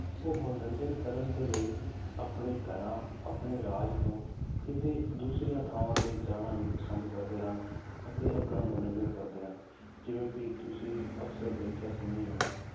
ਉਹ ਮਨੋਰੰਜਨ ਕਰਨ ਦੇ ਲਈ ਆਪਣੇ ਘਰਾਂ ਆਪਣੇ ਰਾਜ ਤੋਂ ਕਿਤੇ ਦੂਸਰੀਆਂ ਥਾਵਾਂ ਤੇ ਜਾਣਾ ਵੀ ਪਸੰਦ ਕਰਦੇ ਹਨ, ਅਤੇ ਆਪਣਾ ਮਨੋਰੰਜਨ ਕਰਦੇ ਹਨ, ਜਿਵੇਂ ਕਿ ਤੁਸੀਂ ਅਕਸਰ ਦੇਖਿਆ ਸੁਣਿਆ ਹੀ ਹੋਣਾ ਹੈ